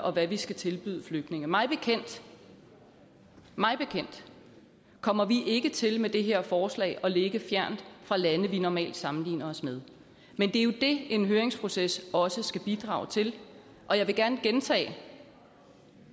og hvad vi skal tilbyde flygtninge mig bekendt mig bekendt kommer vi ikke til med det her forslag at ligge fjernt fra lande vi normalt sammenligner os med men det er jo det en høringsproces også skal bidrage til og jeg vil gerne gentage